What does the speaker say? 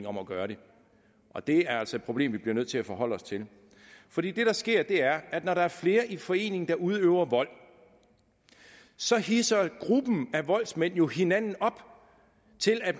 om at gøre det og det er altså et problem vi bliver nødt til at forholde os til for det der sker er at når der er flere der i forening udøver vold så hidser gruppen af voldsmænd jo hinanden op til at